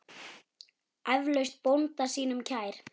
Eflaust bónda sínum kær.